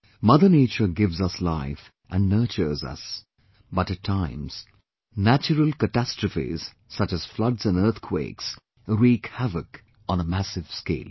Mother Nature gives us life and nurtures us, but at times natural catastrophes such as floods and earthquakes wreak havoc on a massive scale